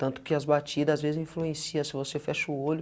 Tanto que as batidas, às vezes, influencia, se você fecha o olho,